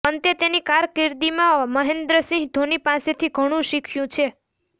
પંતે તેની કારકિર્દીમાં મહેન્દ્રસિંહ ધોની પાસેથી ઘણું શીખ્યું છે